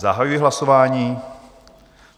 Zahajuji hlasování.